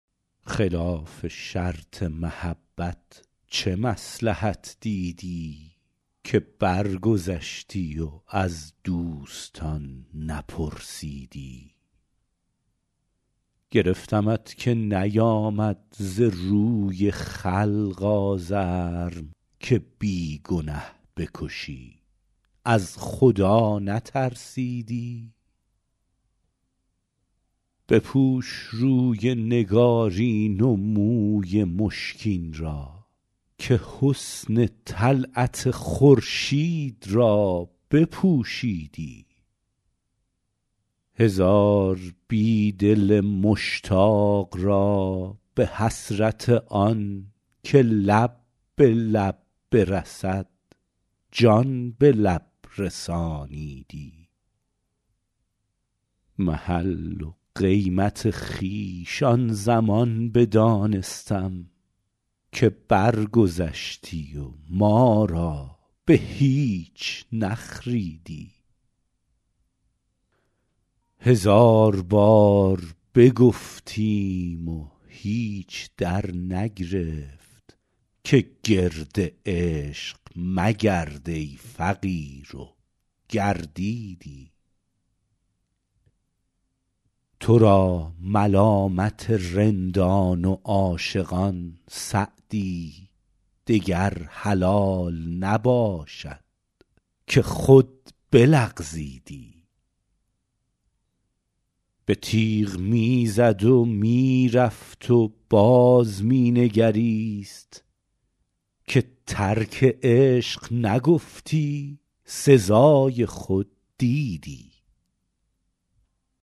خلاف شرط محبت چه مصلحت دیدی که برگذشتی و از دوستان نپرسیدی گرفتمت که نیآمد ز روی خلق آزرم که بی گنه بکشی از خدا نترسیدی بپوش روی نگارین و موی مشکین را که حسن طلعت خورشید را بپوشیدی هزار بی دل مشتاق را به حسرت آن که لب به لب برسد جان به لب رسانیدی محل و قیمت خویش آن زمان بدانستم که برگذشتی و ما را به هیچ نخریدی هزار بار بگفتیم و هیچ درنگرفت که گرد عشق مگرد ای فقیر و گردیدی تو را ملامت رندان و عاشقان سعدی دگر حلال نباشد که خود بلغزیدی به تیغ می زد و می رفت و باز می نگریست که ترک عشق نگفتی سزای خود دیدی